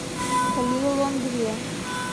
лилонгве